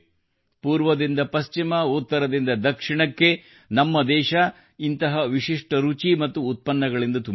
ಪೂರ್ವದಿಂದ ಪಶ್ಚಿಮ ಉತ್ತರದಿಂದ ದಕ್ಷಿಣಕ್ಕೆ ನಮ್ಮ ದೇಶವು ಇಂತಹ ವಿಶಿಷ್ಟ ರುಚಿ ಮತ್ತು ಉತ್ಪನ್ನಗಳಿಂದ ತುಂಬಿದೆ